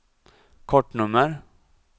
kortnummer